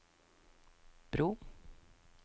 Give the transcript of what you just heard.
bro